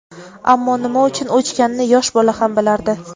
Ammo nima uchun o‘chganini yosh bola ham bilardi.